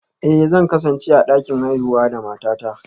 Eh, zan kasance a dakin haihuwa da matata